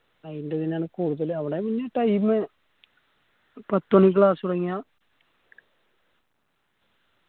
ആയിന്റ പിന്നാലെ കൂടുതൽ അവടെ പിന്നയു time പത്ത് മണിക്ക് class തൊടങ്ങിയാ